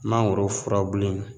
Mangoro furabulu in